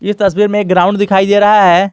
इस तस्वीर में ग्राउंड दिखाई दे रहा है।